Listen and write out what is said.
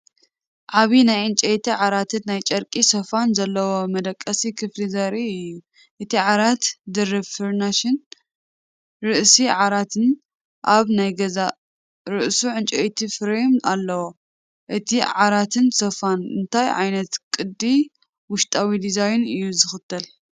ዓቢ ናይ ዕንጨይቲ ዓራትን ናይ ጨርቂ ሶፋን ዘለዎ መደቀሲ ክፍሊ ዘርኢ እዩ። እቲ ዓራት ድርብ ፍራሽን ርእሲ ዓራትን ኣብ ናይ ገዛእ ርእሱ ዕንጨይቲ ፍሬም ኣለዎ። እቲ ዓራትን ሶፋን እንታይ ዓይነት ቅዲ ውሽጣዊ ዲዛይን እዩ ዝኽተል?